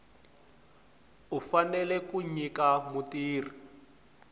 u fanele ku nyika mutirhi